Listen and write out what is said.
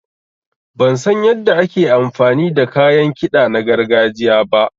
Ban san yanda ake amfani da kayan kiɗa na gargajiya ba.